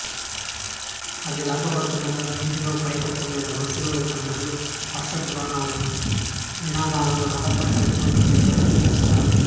అది లాగబడుతుండగా వీధిలో పైకప్పు మీద వరుసలో ఉన్న ప్రజలు హర్షధ్వానాలు నినాదాలతో రథంపై అరటిపండ్లు చక్కెరను కురిపిస్తారు